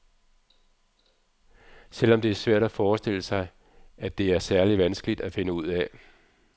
Selvom det er svært at forestille sig, at det er særlig vanskeligt at finde ud af.